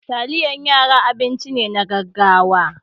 Taliyan yara abinci ne na gaggawa.